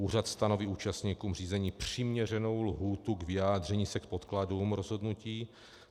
Úřad stanoví účastníkům řízení přiměřenou lhůtu k vyjádření se k podkladům rozhodnutí.